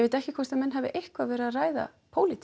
ekki hvort menn hafi eitthvað verið að ræða